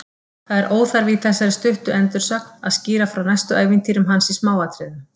Það er óþarfi í þessari stuttu endursögn að skýra frá næstu ævintýrum hans í smáatriðum.